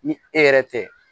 Ni e yɛrɛ tɛ